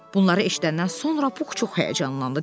Bunları eşidəndən sonra Pux çox həyəcanlandı.